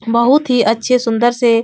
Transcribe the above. बहुत ही अच्छे सुन्दर से --